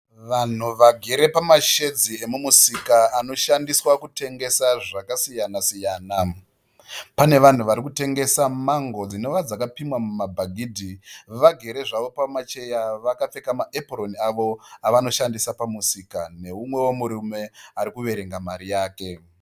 Vanhu vagere pamashedzi emumusika anoshandiswa kutengesa zvakasiyanasiyana. Pane vanhu vari kutengesa mango dzinova dzakapimwa mumabhagidhi vagere zvavo pamacheya vakapfeka maepuroni avo avonoshandisa pamusika nomumwewo murume ari kuverenga mari yake.